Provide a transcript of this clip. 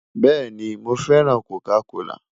Bẹẹni, Mo fẹran Coca kola